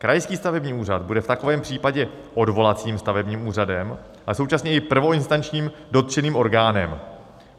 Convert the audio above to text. Krajský stavební úřad bude v takovém případě odvolacím stavebním úřadem a současně i prvoinstančním dotčeným orgánem.